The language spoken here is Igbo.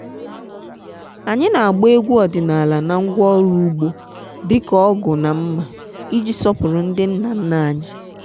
anyị na-agba egwu ọdịnala na ngwaọrụ ugbo dị ka ọgu na mma iji sọpụrụ ndị nna nna anyị.